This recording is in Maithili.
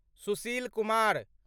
सुशील कुमार